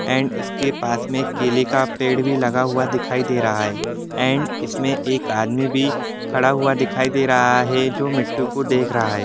And इसके पास ही एक केले का पेड़ भी लगा दिखाई दे रहा है एंड इसमें एक आदमी भी है खड़ा हुआ दिखाई दे रहा है जो मिट्ठू को देख रहा है।